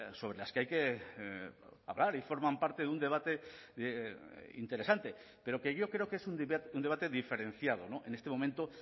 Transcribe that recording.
sobre las que hay que hablar y forman parte de un debate interesante pero que yo creo que es un debate diferenciado en este momento